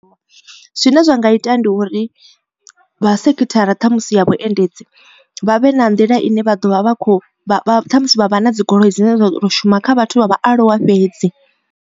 Zwine zwa nga ita ndi uri vha sekhithara ṱhamusi ya vhuendedzi vha vhe na nḓila ine vha ḓovha vha kho ṱhamusi vha vha na dzigoloi dzine dza ḓo shuma kha vhathu vha vhaaluwa fhedzi.